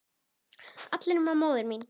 allir nema móðir mín